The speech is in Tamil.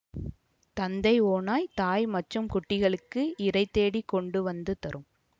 தந்தை ஓநாய் தாய் மற்றும் குட்டிகளுக்கு இரை தேடிக் கொண்டு வந்து தரும்